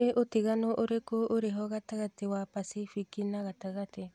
nī ūtiganu ūriku ūriho gatagati wa pasifiki na gatagati